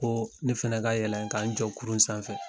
Ko ne fɛnɛ k'a yɛlɛn ka n jɔ kurun sanfɛ